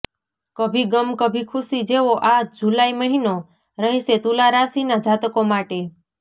કભી ગમ કભી ખુશી જેવો આ જુલાઇ મહિનો રહેશે તુલા રાશિના જાતકો માટે